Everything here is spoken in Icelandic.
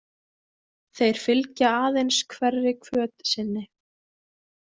Þeir fylgja aðeins hverri hvöt sinni.